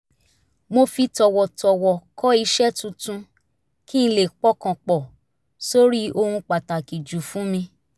mo fi tọ̀wọ̀tọ̀wọ̀ kọ̀ iṣẹ́ tuntun kí n lè pọkàn pọ̀ sórí ohun pàtàkì jù fún mi